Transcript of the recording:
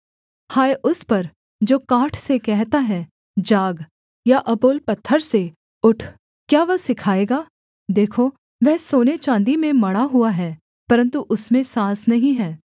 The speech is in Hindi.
हाय उस पर जो काठ से कहता है जाग या अबोल पत्थर से उठ क्या वह सिखाएगा देखो वह सोने चाँदी में मढ़ा हुआ है परन्तु उसमें साँस नहीं है